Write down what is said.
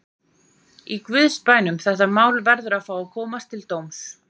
Í guðs bænum: þetta mál verður að fá að koma til dóms.